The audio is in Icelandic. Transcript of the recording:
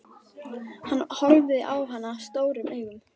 Hann horfði á hana stórum augum.